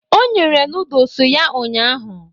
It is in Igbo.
O nyere nodles ya ụnyahụ.